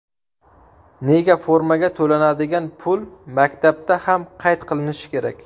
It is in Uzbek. Nega formaga to‘lanadigan pul maktabda ham qayd qilinishi kerak?